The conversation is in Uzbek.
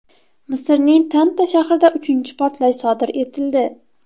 Misrning Tanta shahrida uchinchi portlash sodir etildi.